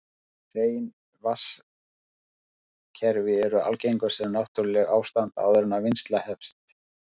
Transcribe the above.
Hrein vatnskerfi eru algengust sem náttúrlegt ástand áður en vinnsla hefst.